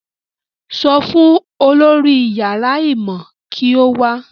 Sọ fún olórí yàrá ìmọ̀ kí ó wá